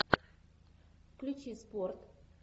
включи спорт